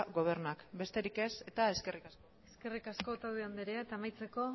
gobernuak besterik ez eta eskerrik asko eskerrik asko otadui andrea eta amaitzeko